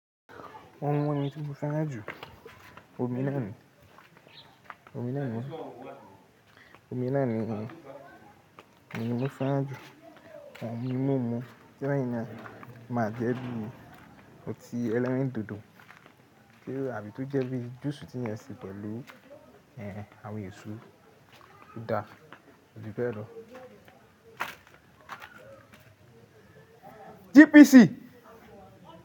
Ọ̀un yẹn tí mo fẹ́ràn jù. Omi náà ni, omi náà ni, omi náà ni. Omi lo fẹ́ràn jù. Òhun mímu tí leyin náa jẹ́ bíi omi, óti ẹlẹ́rìndòdò, táàbí tó jẹ́ bíi juice tí eyan ṣe pẹ̀lú ẹ́hẹ̀n àwọn èso. Ó da, ó di bẹ́ẹ̀ lọ. GPC.